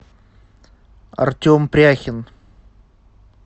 артем пряхин